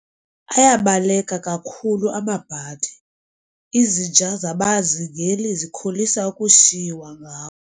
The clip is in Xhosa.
Ayabaleka kakhulu amabhadi, izinja zabazingeli zikholisa ukushiywa ngawo.